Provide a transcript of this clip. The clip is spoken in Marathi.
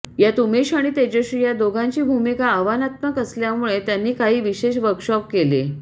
यात उमेश आणि तेजश्री या दोघांची भूमिका आव्हानात्मक असल्यामुळे त्यांनी काही विशेष वर्कशॉप केले